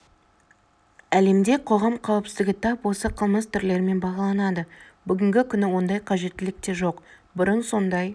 әлемде қоғам қауіпсіздігі тап осы қылмыс түрлерімен бағаланады бүгінгі күні ондай қажеттілік те жоқ бұрын сондай